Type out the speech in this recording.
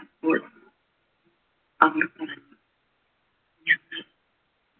അപ്പോൾ അവർ പറഞ്ഞു ഞങ്ങൾ